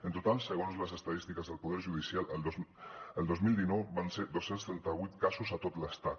en total segons les estadístiques del poder judicial el dos mil dinou van ser dos cents i trenta vuit casos a tot l’estat